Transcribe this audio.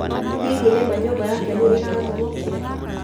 Hihi nĩ ma nyũmba yake nĩ ĩramomokire